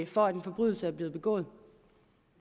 for at en forbrydelse er blevet begået